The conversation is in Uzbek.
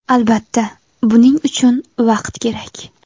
Albatta, buning uchun vaqt kerak.